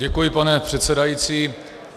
Děkuji, pane předsedající.